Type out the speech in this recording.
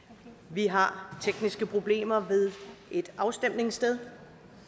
vi har tekniske problemer ved et afstemningssted